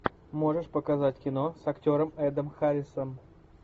можешь показать кино с актером эдом харрисом